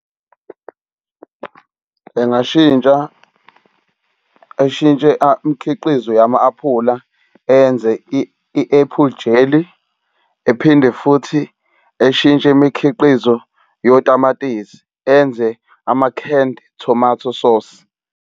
Engashintsha eshintshe imikhiqizo yama-aphula enze i-apple jelly ephinde futhi eshintshe imikhiqizo yotamatisi, enze ama-canned tomato sauce.